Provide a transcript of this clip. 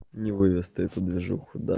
не выдаст эту движуху да